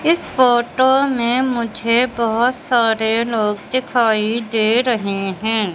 इस फोटो में मुझे बहुत सारे लोग दिखाई दे रहे हैं।